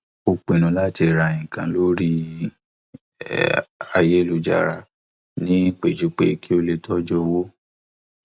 ó pinnu láti ra nǹkan lórí ayélujára ní pẹjúpẹ kí ó tójú owó